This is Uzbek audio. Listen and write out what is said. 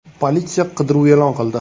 Politsiya qidiruv e’lon qildi.